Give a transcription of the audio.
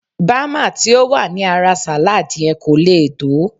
Bama ti ó wà ní ara salad yen ko leè to